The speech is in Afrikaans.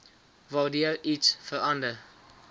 waardeur iets verander